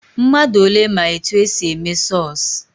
Mmadụ ole ma etu e si eme sọsụ?